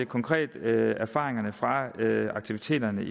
konkrete erfaringer fra aktiviteterne